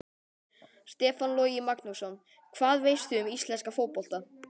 Stefán Logi Magnússon Hvað veistu um íslenska fótbolta?